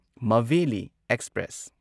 Maveli express